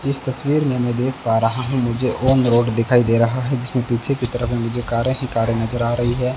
इस तस्वीर में मैं देख पा रहा हूं मुझे ऑन रोड दिखाई दे रहा है जिसमें पीछे की तरफ में मुझे कारें ही कारें नजर आ रही हैं।